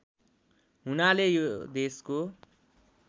हुनाले यो देशको